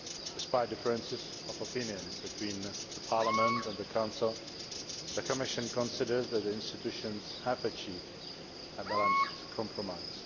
Despite differences of opinion between Parliament and the Council, the Commission considers that the institutions have achieved a balanced compromise.